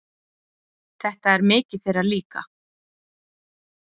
Þetta er mikið þeirra líka.